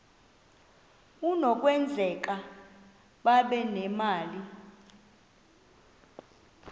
kunokwenzeka babe nemali